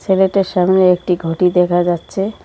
ছেলেটার সামনে একটি ঘটি দেখা যাচ্ছে।